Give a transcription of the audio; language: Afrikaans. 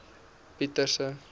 pieterse